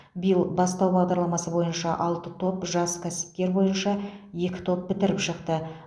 биыл бастау бағдарламасы бойынша алты топ жас кәсіпкер бойынша екі топ бітіріп шықты